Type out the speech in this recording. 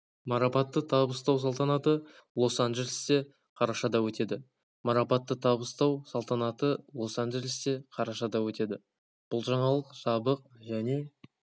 марапатты табыстау салтанаты лос-анджелесте қарашада өтеді марапатты табыстау салтанаты лос-анджелесте қарашада өтеді бұл жаңалық жабық және